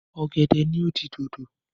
Ọ̀gẹ̀dẹ̀ ni ó di dodo.